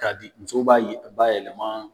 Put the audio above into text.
K'a di muso b'a ye bayɛlɛma